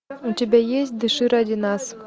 у тебя есть дыши ради нас